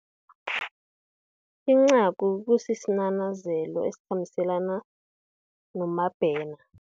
Incagu, kusinanazelo esikhambiselana, noMabena.